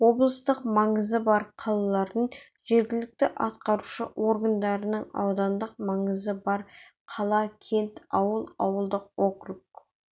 облыстық маңызы бар қалалардың жергілікті атқарушы органдарының аудандық маңызы бар қала кент ауыл ауылдық округ